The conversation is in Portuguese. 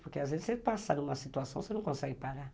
Porque às vezes você passa numa situação que você não consegue parar.